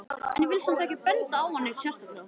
En ég vil samt ekki benda á hann neitt sérstaklega.